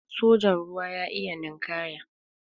sojan ruwa ya iya ninkaya